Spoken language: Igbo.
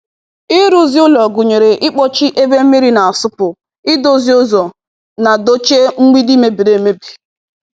Ịrụzi ụlọ gụnyere ịkpọchie ebe mmiri na-asụpụ, idozi ụzọ, na dochie mgbidi mebiri emebi.